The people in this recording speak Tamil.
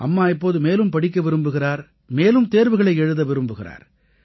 அம்மா இப்போது மேலும் படிக்க விரும்புகிறார் மேலும் தேர்வுகளை எழுத விரும்புகிறார்